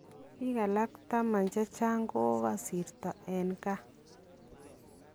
Biik alak 10 chechang kokasirta en CAR